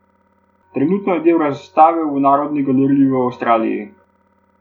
Trenutno je del razstave v narodni galeriji v Avstraliji.